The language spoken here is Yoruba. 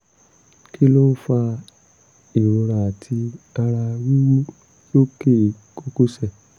kí ló ń fa ìrora àti ara wíwú lókè kókósẹ̀?